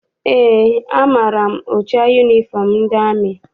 Eé, amaara m ụcha yunifọm ndị amị.